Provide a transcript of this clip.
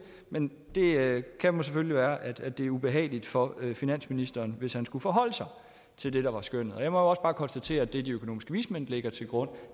men det kan selvfølgelig være at det er ubehageligt for finansministeren hvis han skulle forholde sig til det der var skønnet jeg må jo også bare konstatere at det de økonomiske vismænd lægger til grund